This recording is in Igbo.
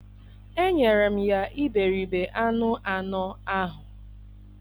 enyere m ya iberibe anụ anọ ahụ.